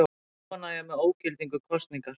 Óánægja með ógildingu kosningar